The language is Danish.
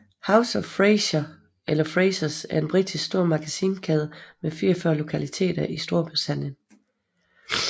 House of Fraser eller Frasers er en britisk stormagasinkæde med 44 lokaliteter i Storbritannien